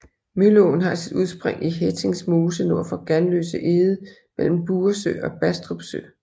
Mølleåen har sit udspring i Hettings Mose nord for Ganløse Eged mellem Buresø og Bastrup sø